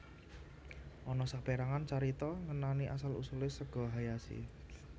Ana saperangan carita ngenani asal usule sega hayashi